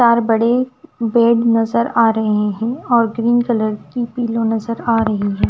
चार बड़े बेड नजर आ रहे हैं और ग्रीन कलर की पिलो नजर आ रही है।